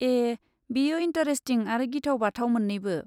ए, बेयो इन्टारेस्टिं आरो गिथाव बाथाव मोन्नैबो।